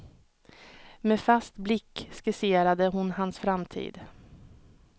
Med fast blick skisserade hon hans framtid.